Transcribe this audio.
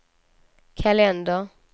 kalender